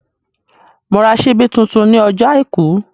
Mo ra ṣíbí tuntun ní ọjọ́ àìkú